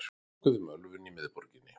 Nokkuð um ölvun í miðborginni